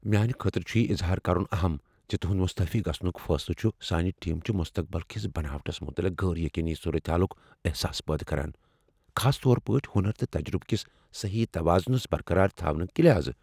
میانہ خٲطرٕ چُھ یہِ اظہار کرن اہم زِ تہنٛد مستعفی گژھنک فٲصلہٕ چھ سٲنۍ ٹیم چہ مستقبل کس بناوٹس متعلق غٲر یقینی صورتحالک احساس پٲدٕ کران، خاص طور پٲٹھۍ ہنر تہٕ تجربہٕ کس صحیح توازنس برقرار تھونہٕ کہ لحاظہٕ۔